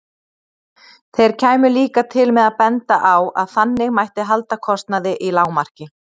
Þeir kæmu líka til með að benda á að þannig mætti halda kostnaði í lágmarki.